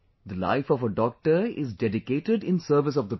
The life of a doctor is dedicated in service of the people